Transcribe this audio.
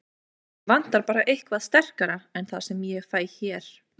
Mig vantar bara eitthvað sterkara en það sem ég fæ hér.